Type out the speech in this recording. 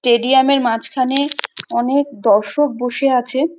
টেডিয়ামের মাঝখানে অনেক দর্শক বসে আছে।